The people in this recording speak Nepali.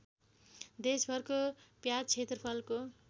देशभरको प्याज क्षेत्रफलको